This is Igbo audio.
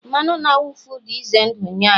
mmanụ na-awụfu dị ize ndụ nye anyị